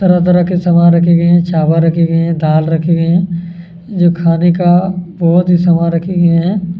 तरह-तरह के सामान रखे गए हैं चावल रखे गए हैं दाल रखी गईं हैं जो खाने का बहोत ही सामान रखे गए हैं। --